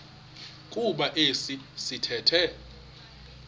kuba esi sithethe